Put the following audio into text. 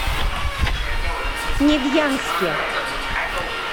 невьянске